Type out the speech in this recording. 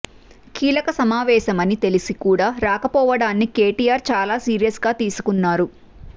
కీలక సమావేశమని తెలిసి కూడా రాకపోవడాన్ని కేటీఆర్ చాలా సీరియస్ గా తీసుకున్నారు